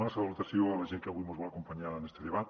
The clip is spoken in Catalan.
una salutació a la gent que avui mos vol acompanyar en este debat